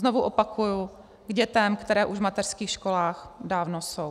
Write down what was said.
Znovu opakuji, k dětem, které už v mateřských školách dávno jsou.